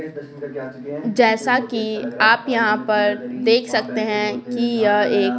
जैसा कि आप यहाँ पर देख सकते हैं कि यह एक--